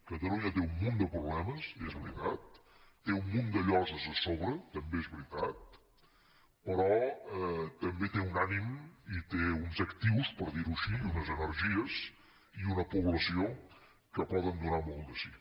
catalunya té un munt de problemes és veritat té un munt de lloses a sobre també és veritat però també té un ànim i té uns actius per dir ho així i unes energies i una població que poden donar molt de si